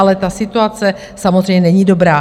Ale ta situace samozřejmě není dobrá.